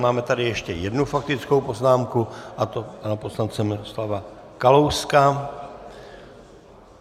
Máme tady ještě jednu faktickou poznámku, a to pana poslance Miroslava Kalouska.